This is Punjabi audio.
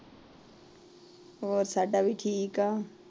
ਹੋਰ ਸਾਭਾ ਵੀ ਠੀਕ ਆ।